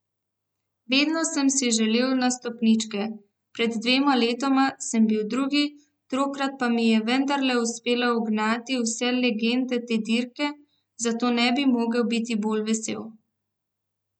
Vedno sem si želel na stopničke, pred dvema letoma sem bil drugi, tokrat pa mi je vendarle uspelo ugnati vse legende te dirke, zato ne bi mogel biti bolj vesel.